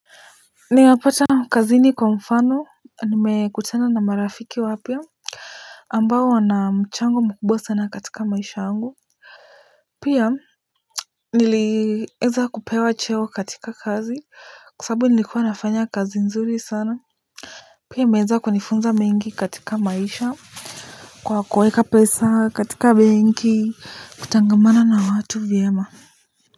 Nayapata kazini kwa mfano nimekutana na marafiki wapya ambao wana mchango mkubwa katika maisha yangu. Pia nilieza kupewa cheo katika kazi kwa sababu nilikuwa nafanya kazi nzuri sana. Pia imeweza kunifunza mengi katika maisha kwa kuweka pesa katika benki kutangamana na watu vyema.